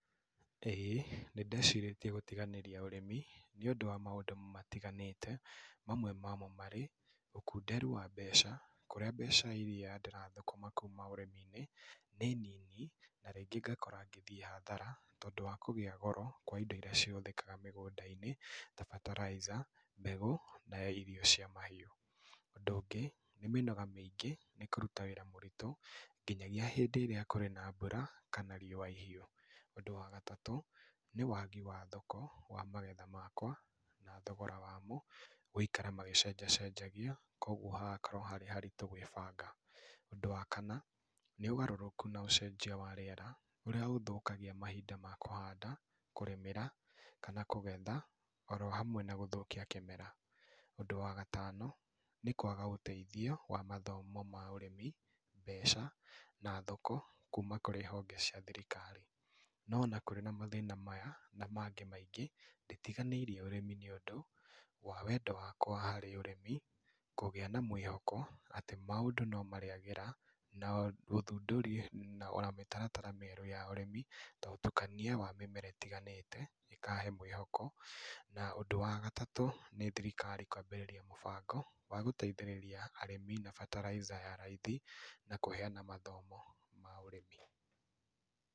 Ĩĩ, nĩ ndecirĩtie gũtiganĩria ũrĩmi, nĩ ũndũ wa maũndũ matiganĩte. Mamwe mamo marĩ ũkunderu wa mbeca, kũrĩa mbeca irĩa ndĩrathũkũma kuuma ũrĩmi-inĩ, nĩ nini, na rĩngĩ ngakora ngĩthiĩ hathara, tondũ wa kũgĩa goro kwa indo irĩa ihũthĩkaga mĩgũnda-inĩ ta bataraica, mbegũ, na irio cia mahiũ. Ũndũ ũngĩ, nĩ mĩnoga mĩingĩ, nĩ kũruta wĩra mũritũ, nginyagĩa hĩndĩ ĩrĩa kũrĩ na mbura kana riũa ihiũ. Ũndũ wa gatatũ, nĩ wagi wa thoko wa magetha makwa, na thogora wamo, gũikara magĩcenjacenjagia, koguo hagakorwo harĩ haritũ gwĩbanga. Ũndũ wa kana, nĩ ũgarũrũku na ũcenjia wa rĩera, ũrĩa ũthũkagia mahinda ma kũhanda, kũrĩmĩra, kana kũgetha oro hamwe na gũthũkia kĩmera. Ũndũ wa gatano, nĩ kwaga ũteithio wa mathomo ma ũrĩmi, mbeca, na thoko kuma kũrĩ honge cia thirikari. No ona kũrĩ na mathĩna maya, na maangĩ maingĩ, nditiganĩirie ũrĩmi nĩ undũ, wa wendo wakwa harĩ ũrĩmi, kũgĩa na mwĩhoko atĩ, maũndũ no marĩagĩra na ũthundũri ona mĩtaratara mĩerũ ya ũrĩmi. Ta ũtũkania wa mĩmera ĩtiganĩte ĩkahe mwĩhoko, na ũndũ wa gatatũ, nĩ thirikaari kwambĩrĩria mũbango wa gũteithĩrĩria arĩmi na fertilizer ya raithi, na kũheana mathomo ma ũrĩmi.